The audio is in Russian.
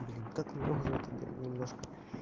блин как мне уже это да немножко